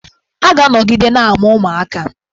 A ga-anọgide na-amụ ụmụaka.